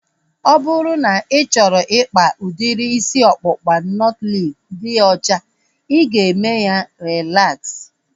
Ọ bụrụ na ị chọrọ ikpa udiri isi ọkpụkpa nọtlees dị ọcha, ị ga-eme ya relaksa